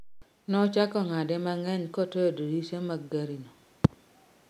Nochako ng'ade mang'eny kotoyo dirise te mag gari no